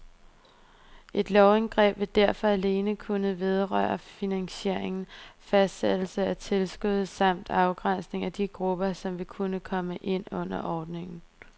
Et lovindgreb vil derfor alene kunne vedrøre finansiering, fastsættelse af tilskud samt afgrænsning af de grupper, som vil kunne komme ind under ordningen.